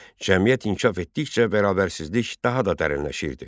Cəmiyyət inkişaf etdikcə bərabərsizlik daha da dərinləşirdi.